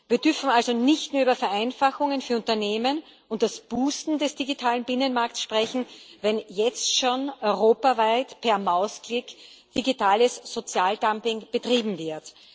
Wir dürfen also nicht nur über Vereinfachungen für Unternehmen und das Boosten des digitalen Binnenmarkts sprechen, wenn jetzt schon europaweit per Mausklick digitales Sozialdumping betrieben wird.